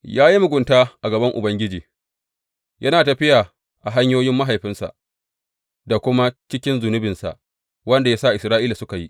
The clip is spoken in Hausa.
Ya yi mugunta a gaban Ubangiji, yana tafiya a hanyoyin mahaifinsa da kuma cikin zunubinsa, wanda ya sa Isra’ila suka yi.